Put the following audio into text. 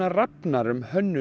Rafnar um hönnun